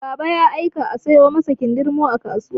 Baba ya aika a sayo masa kindirmo a kasuwa.